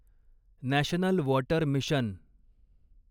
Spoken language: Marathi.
national water mission